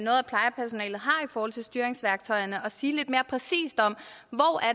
forhold til styringsværktøjerne og sige mere præcist om hvor